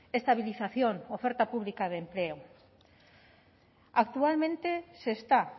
estabilización oferta pública de empleo actualmente se está